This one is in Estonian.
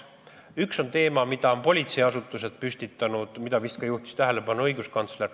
Üks on teema, mille on püstitanud politseiasutused ja millele vist juhtis tähelepanu ka õiguskantsler.